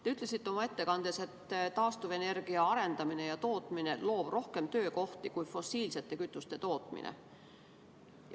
Te ütlesite oma ettekandes, et taastuvenergia arendamine ja tootmine loob rohkem töökohti kui fossiilsete kütuste tootmine.